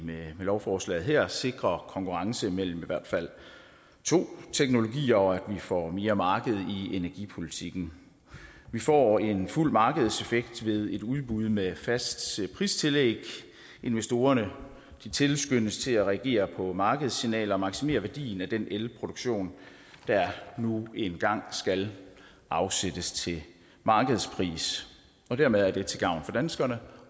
med lovforslaget her sikrer konkurrence mellem i hvert fald to teknologier og at vi får mere marked i energipolitikken vi får en fuld markedseffekt ved et udbud med fast pristillæg og investorerne tilskyndes til at reagere på markedssignaler og at maksimere værdien af den elproduktion der nu engang skal afsættes til markedspris og dermed er det til gavn for danskerne